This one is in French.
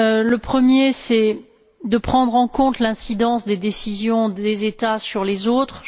Le premier, c'est le fait de prendre en compte l'incidence des décisions des États sur les autres.